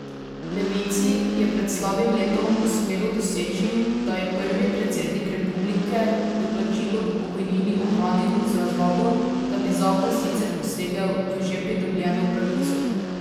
Levici je pred slabim letom uspelo doseči, da je prvi predsednik republike doplačilo k pokojnini ohranil z razlago, da bi zakon sicer posegel v že pridobljeno pravico.